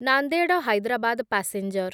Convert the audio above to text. Nanded Hyderabad passenger